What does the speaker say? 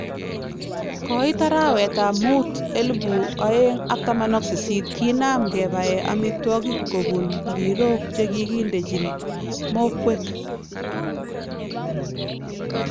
Koit arawetab muut 2018 kinaam kebai amiitwokik kobuun mbirook chekikindechin mokweek